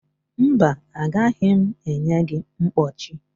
mba, agaghị m enye gị mkpọchi